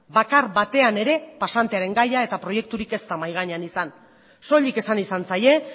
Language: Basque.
bakar batean ere pasantearen gaia eta proiekturik ez da mahai gainean izan soilik esan izan zaie